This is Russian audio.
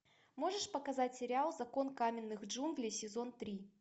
можешь показать сериал закон каменных джунглей сезон три